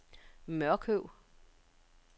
Mørkøv